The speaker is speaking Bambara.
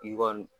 I kɔni